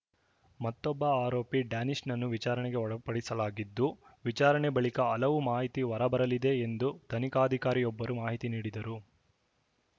ಮತ್ತೊಬ್ಬ ಆರೋಪಿ ಡ್ಯಾನಿಶ್‌ನನ್ನು ವಿಚಾರಣೆಗೆ ಒಳಪಡಿಸಲಾಗಿದ್ದು ವಿಚಾರಣೆ ಬಳಿಕ ಹಲವು ಮಾಹಿತಿ ಹೊರ ಬರಲಿದೆ ಎಂದು ತನಿಖಾಧಿಕಾರಿಯೊಬ್ಬರು ಮಾಹಿತಿ ನೀಡಿದರು